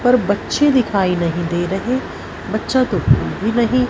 पर बच्चे दिखाई नहीं दे रहे बच्चा तो कोई नहीं--